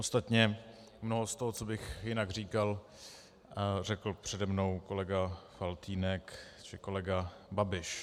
Ostatně mnoho z toho, co bych jinak říkal, řekl přede mnou kolega Faltýnek či kolega Babiš.